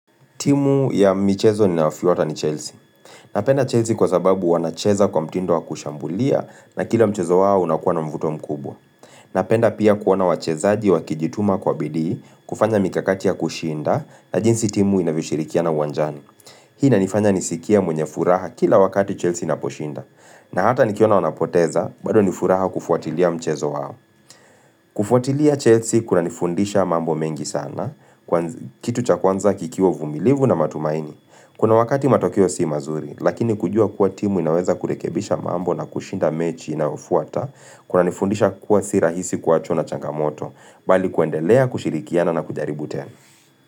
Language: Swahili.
Timu ya michezo ninaofuata ni Chelsea. Napenda Chelsea kwa sababu wanacheza kwa mtindo wa kushambulia na kila mchezo wao unakuwa na mvuto mkubwa. Napenda pia kuona wachezaji wa kijituma kwa bidii, kufanya mikakati ya kushinda na jinsi timu inavishirikiana uwanjani. Hii inanifanya nisikia mwenye furaha kila wakati Chelsea inaposhinda. Na hata nikiona wanapoteza, baado nifuraha kufuatilia mchezo wao. Kufuatilia Chelsea kuna nifundisha mambo mengi sana, kwanz kitu cha kwanza kikiwa uvumilivu na matumaini. Kuna wakati matokeo si mazuri, lakini kujua kuwa timu inaweza kurekebisha mambo na kushinda mechi inaofuata kuna nifundisha kuwa si rahisi kuwachwa na changamoto, bali kuendelea, kushirikiana na kujaribu tena.